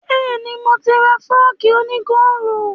Bẹ́ẹ̀ni, mo ti ra fọ́ọ̀kì òní góòlù